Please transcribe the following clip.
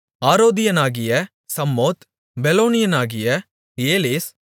ஆரோதியனாகிய சம்மோத் பெலோனியனாகிய ஏலெஸ்